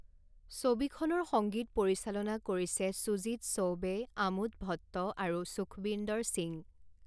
ছবিখনৰ সংগীত পৰিচালনা কৰিছে সুজিত চৌবে, আমোদ ভট্ট আৰু সুখৱিন্দৰ সিং।